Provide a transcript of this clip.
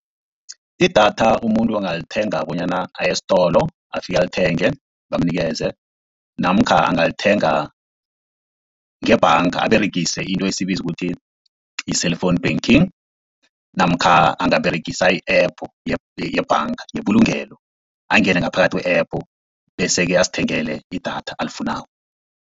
Idatha umuntu angalithenga bonyana aye estolo afike alithenge bamunikeze, namkha angalithenga ngebhanga aberegise into esiyibiza ukuthi yi-cellphone banking, namkha angaberegisa i-app yebhanga yebulungelo angene ngaphakathi kwe-app, bese-ke azithengele idatha alifunako.